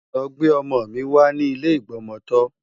Lọ gbé ọmọ mi wá ní ilé ìgbọmọtọ́!